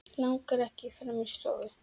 Langar ekki fram í stofu.